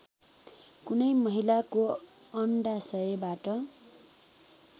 कुनै महिलाको अण्डाशयबाट